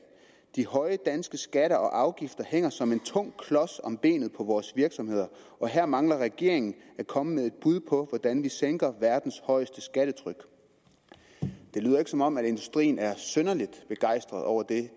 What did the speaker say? de høje danske skatter og afgifter hænger som en tung klods om benet på vores virksomheder og her mangler regeringen at komme med et bud på hvordan vi sænker verdens højeste skattetryk det lyder ikke som om industrien er synderlig begejstret over det